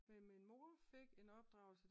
Men min mor fik en opdragelse